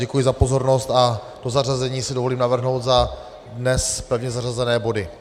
Děkuji za pozornost a to zařazení si dovolím navrhnout za dnes pevně zařazené body.